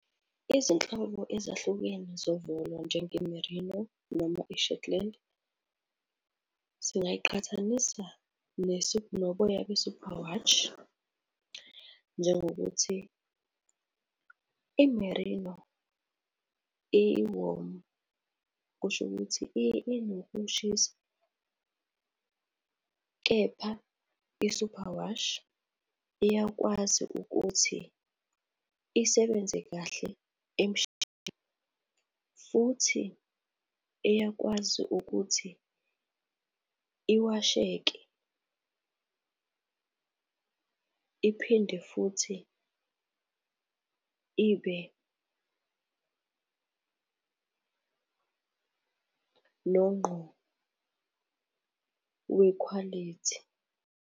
Izinhlobo ezahlukene zovolo njenge-Merino noma i-Shetland singayiqhathanisa noboya be-Superwash njengokuthi i-Merino i-warm, kusho ukuthi inokushisa. Kepha i-Superwash iyakwazi ukuthi isebenze kahle futhi iyakwazi ukuthi iwasheke, iphinde futhi ibe nongqo wekhwalithi.